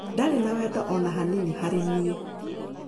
Ndarĩ na wendo o na hanini harĩ niĩ.